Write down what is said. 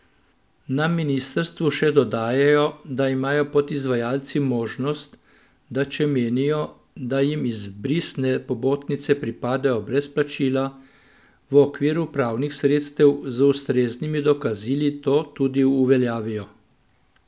Na ministrstvu še dodajajo, da imajo podizvajalci možnost, da če menijo, da jim izbrisne pobotnice pripadajo brez plačila, v okviru pravnih sredstev z ustreznimi dokazili to tudi uveljavljajo.